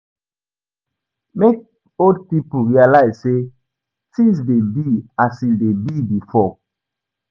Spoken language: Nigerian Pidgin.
Make old pipo realise say things de be as im de be before